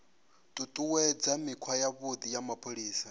ṱuṱuwedza mikhwa yavhuḓi ya mapholisa